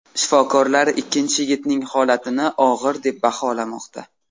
Shifokorlar ikkinchi yigitning holatini og‘ir deb baholamoqda.